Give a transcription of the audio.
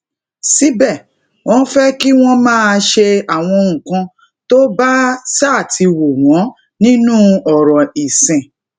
síbè wón fé kí wón máa ṣe àwọn nǹkan tó bá ṣáà ti wù wón nínú òrò ìsìn